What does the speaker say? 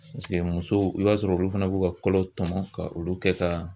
Paseke musow i b'a sɔrɔ olu fana b'u ka kɔlɔ tɔmɔ ka olu kɛ ka